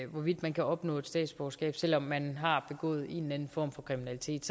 hvorvidt man kan opnå statsborgerskab selv om man har begået en eller anden form for kriminalitet